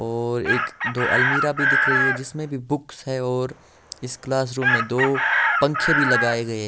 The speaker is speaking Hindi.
और एक दो अलमीरा भी दिख रही हैं जिसमे भी बुक्स हैं और इस क्लासरूम में दो पंखे भी लगाए गये--